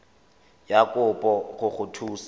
ya kopo go go thusa